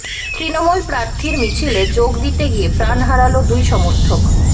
তৃণমূল প্রার্থীর মিছিলে যোগ দিতে গিয়ে প্রাণ হারাল দুই সমর্থক